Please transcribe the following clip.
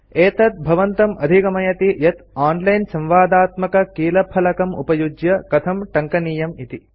एतत् भवन्तं अदिगमयति यत् ओनलाइन् संवादात्मक कीलफलकमुपयुज्य कथं टङ्कनीयमिति